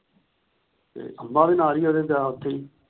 ਤੇ ਅੰਬਾ ਵੀ ਨਾਲ ਹੀ ਉਹਦੇ ਦਾਬ ਚ ਹੀ।